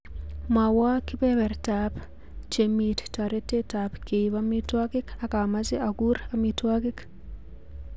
Mwowo kibebertaab chemit toretetab keib amitwogik ak amache akur amitwogik